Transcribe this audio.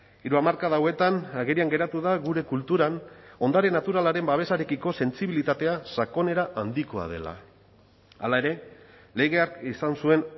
hiru hamarkada hauetan agerian geratu da gure kulturan ondare naturalaren babesarekiko sentsibilitatea sakonera handikoa dela hala ere legeak izan zuen